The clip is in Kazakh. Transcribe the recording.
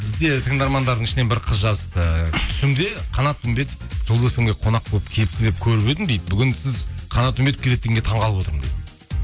бізде тыңдармандардың ішінен бір қыз жазыпты түсімде қанат үмбетов жұлдыз фм ге қонақ болып келіпті деп көріп едім дейді бүгін сіз қанат үмбетов келеді дегенге таңғалып отырмын дейді